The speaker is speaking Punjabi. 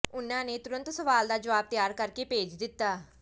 ਉਨ੍ਹਾਂ ਨੇ ਤੁਰੰਤ ਸਵਾਲ ਦਾ ਜਵਾਬ ਤਿਆਰ ਕਰ ਕੇ ਭੇਜ ਦਿੱਤਾ